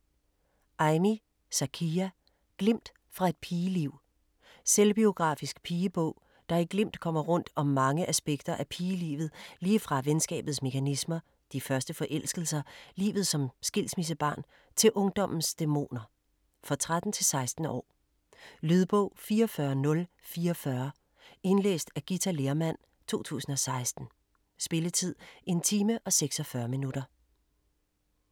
Ajmi, Zakiya: Glimt fra et pigeliv Selvbiografisk pigebog, der i glimt kommer rundt om mange aspekter af pigelivet lige fra venskabets mekanismer, de første forelskelser, livet som skilsmissebarn til ungdommens dæmoner. For 13-16 år. Lydbog 44044 Indlæst af Githa Lehrmann, 2016. Spilletid: 1 time, 46 minutter.